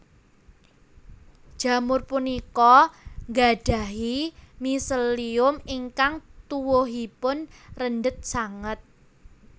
Jamur punika nggadhahi miselium ingkang tuwuhipun rendhet sanget